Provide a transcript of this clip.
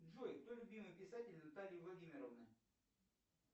джой кто любимый писатель натальи владимировны